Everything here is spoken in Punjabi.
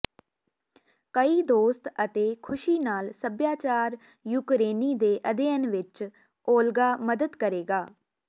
ਕਈ ਦੋਸਤ ਅਤੇ ਖ਼ੁਸ਼ੀ ਨਾਲ ਸਭਿਆਚਾਰ ਯੂਕਰੇਨੀ ਦੇ ਅਧਿਐਨ ਵਿਚ ਓਲਗਾ ਮਦਦ ਕਰੇਗਾ